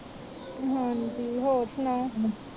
ਹਾਂਜੀ ਹੋਰ ਸੁਣਾਓ